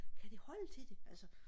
kan det holde til det altså